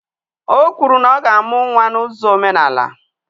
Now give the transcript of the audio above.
O kwuru na ọ ga-amụ nwa na uzo omenala